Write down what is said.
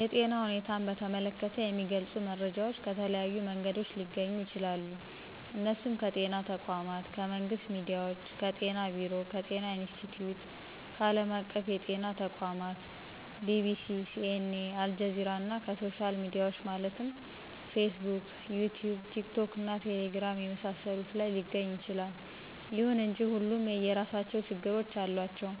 የጤና ሁኔታን በተመለከተ የሚገልጹ መረጃዎች ከተለያዩ መንገዶች ሊገኙ ይችላሉ እነሱም ከጤና ተቋማት :ከመንግስት ሚዲያዎች :ከጤና ቢሮ :ከጤና ኢንስትቲዮት :ከአለም አቀፍ የጤና ተቋማት :BBC :CNA :አልጀዚራና ከሶሻል ሚዲያዎች ማለትም ፌስቡክ: ይቲዩብ :ቲክቶክና ቴሌግራም የመሳሰሉት ላይ ሊገኝ ይችላል። ይሁን እንጂ ሁሉም የየራሳቸው ችግሮች አሏቸው